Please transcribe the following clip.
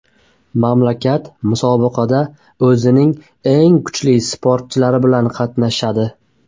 Mamlakat musobaqada o‘zining eng kuchli sportchilari bilan qatnashadi.